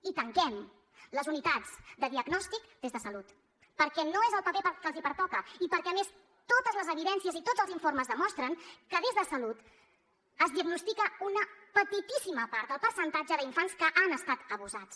i tanquem les unitats de diagnòstic des de salut perquè no és el paper que els pertoca i perquè a més totes les evidències i tots els informes demostren que des de salut es diagnostica una petitíssima part del percentatge d’infants que han estat abusats